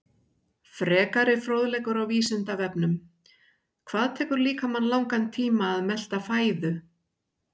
Frekari fróðleikur á Vísindavefnum: Hvað tekur líkamann langan tíma að melta fæðu?